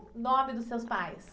O nome dos seus pais.